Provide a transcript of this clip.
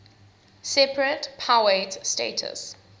separate powiat status